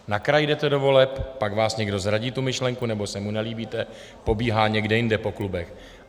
Na kraji jdete do voleb, pak vás někdo zradí, tu myšlenku, nebo se mu nelíbíte, pobíhá někde jinde po klubech.